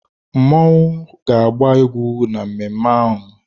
Mmọnwụ ga-agba egwú na mmemme ahụ.